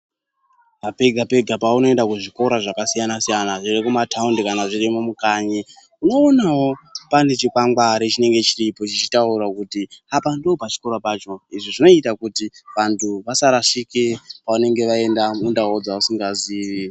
Pega pega paunoenda kuzvikora zvakasiyana siyana zvirimumataundi kana zvirimo mukanyi unoonawo pane chikwangwari chinenge chiripo chichitaura kuti apa ndopachikora pacho izvi zvinoita kuti vantu vasarashike pavanenge vaenda mundau dzavasingazivi.